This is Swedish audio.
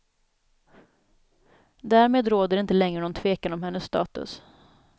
Därmed råder det inte längre någon tvekan om hennes status.